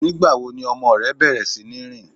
Nígbàwo ni ọmọ rẹ bẹ̀rẹ̀ sí ni rin?